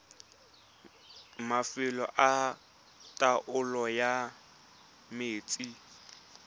mafelo a taolo ya metsi